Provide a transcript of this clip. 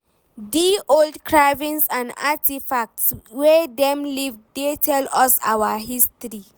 Di old carvings and artifacts wey dem leave dey tell us our history.